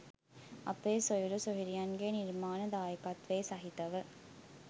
අපේ සොයුරු සොයුරියන්ගේ නිර්මාණ දායකත්වය සහිතව